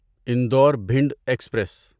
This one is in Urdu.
انڈور بھنڈ ایکسپریس